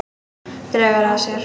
Dregur að sér.